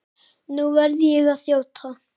Nú verð ég að þjóta.